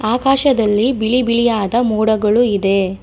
ಆಕಾಶದಲ್ಲಿ ಬಿಳಿ ಬಿಳಿಯಾದ ಮೋಡಗಳು ಇದೆ.